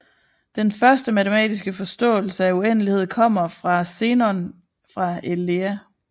Den første matematiske forståelse af uendelighed kommer fra Zenon fra Elea